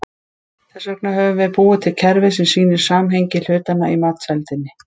Þess vegna höfum við búið til kerfi sem sýnir samhengi hlutanna í matseldinni.